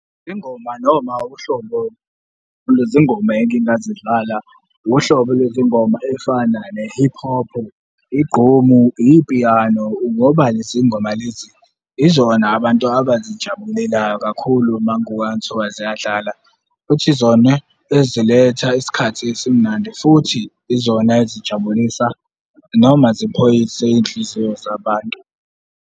Ingoma noma uhlobo lwezingoma engingazidlala, uhlobo lwezingoma eyifana ne-hip hop, igqomu, ipiyano, ngoba lezi ngoma lezi yizona abantu abazijabulelayo kakhulu uma kuthiwa ziyadlala, futhi yizona eziletha isikhathi esimnandi futhi izona ezijabulisa noma zipholise iy'nhliziyo zabantu.